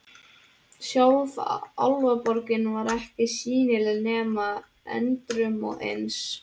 Sjálf Álfaborgin var ekki sýnileg nema endrum og eins.